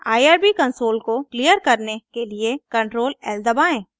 irb console को clear करने के लिए ctrl lदबाएँ